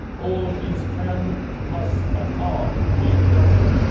All of these can, must and are being dealt with.